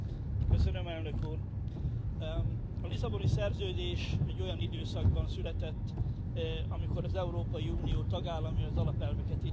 A lisszaboni szerződés egy olyan időszakban született, amikor az Európai Unió tagállamai az alapelveket illetően lényegében mindenben egyetértettek.